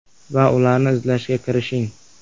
Va ularni izlashga kirishing.